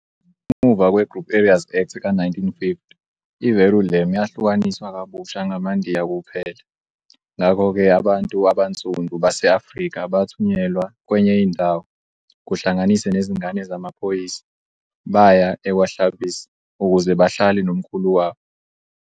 Ngemuva kwe-Group Areas Act ka-1950, i-Verulam yahlukaniswa kabusha ngamaNdiya kuphela, ngakho-ke abantu abansundu base-Afrika bathunyelwa kwenye indawo, kuhlanganise nezingane zamaphoyisa, baya e-kwaHlabisa, ukuze bahlale nomkhulu wabo.